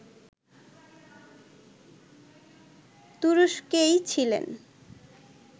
তুরস্কেই ছিলেন